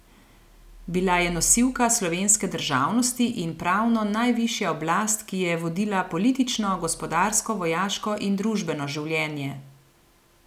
Bila je nosilka slovenske državnosti in pravno najvišja oblast, ki je vodila politično, gospodarsko, vojaško in družbeno življenje.